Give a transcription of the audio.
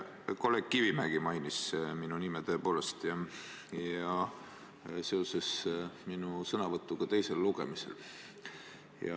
Kolleeg Kivimägi tõepoolest mainis mu nime ja tegi seda seoses minu sõnavõtuga teisel lugemisel.